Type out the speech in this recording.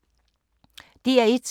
DR1